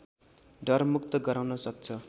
डरमुक्त गराउन सक्छ